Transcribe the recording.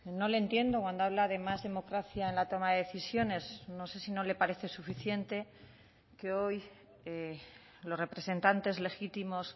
no le entiendo cuando habla de más democracia en la toma de decisiones no sé si no le parece suficiente que hoy los representantes legítimos